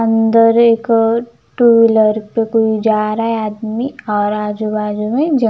अंदर एक two wheeler पे कोई जा रहा है आदमी और आजुबाजू में.